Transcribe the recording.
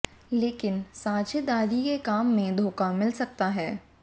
लेकिन साझेदारी के काम में धोखा मिल सकता है